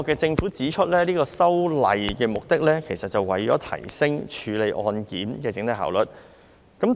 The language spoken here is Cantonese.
政府指出，這次修訂的目的是為提升處理案件的整體效率。